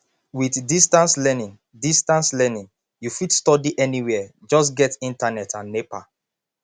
with distance learning distance learning you fit study anywhere just get internet and nepa